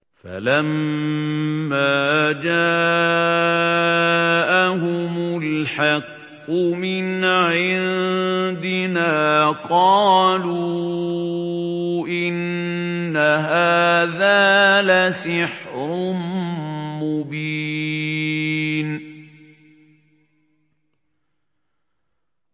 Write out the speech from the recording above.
فَلَمَّا جَاءَهُمُ الْحَقُّ مِنْ عِندِنَا قَالُوا إِنَّ هَٰذَا لَسِحْرٌ مُّبِينٌ